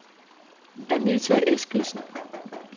Anita Eskildsen